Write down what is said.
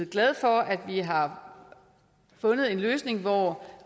glade for at vi har fundet en løsning hvor